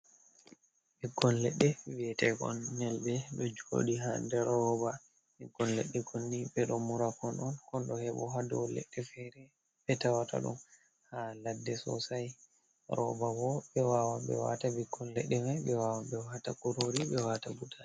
Ɓikkon leɗɗe vi'eteekon Nyelɓe, ɗo jooɗi haa nder rooba, ɓikkon leɗɗe konni ɓe ɗo murakon on, kon ɗo hebo haa dow leɗɗe feere ɓe tawata ɗum haa ladde soosay, rooba boo ɓe waawan ɓe waata ɓikkoy leɗɗe may, ɓe waawan ɓe waata kuroori, ɓe waata butaali.